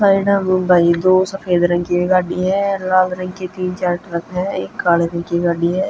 साइडा म भई दो सफेद रंग की भी गाड़ी ह अर लाल रंग के तीन चार ट्रक हं एक काल्ह रंग की गाड़ी ह.